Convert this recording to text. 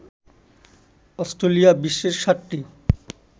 Australia বিশ্বের ৭টি